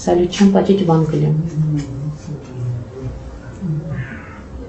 салют чем платить в англии